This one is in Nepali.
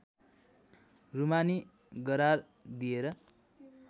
रूमानी गरार दिएर